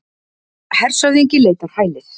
Hershöfðingi leitar hælis